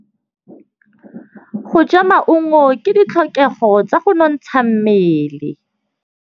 Go ja maungo ke ditlhokegô tsa go nontsha mmele.